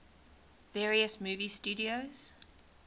various movie studios